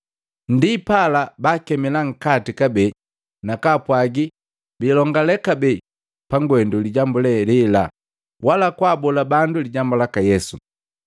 Ndipala baakemila nkati kabee na kaapwagi biilongalee kabee pangwendu lijambu lee lela, wala kwaabola bandu lijambu laka Yesu.